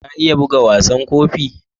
Ka iya bugan wasan Gofi?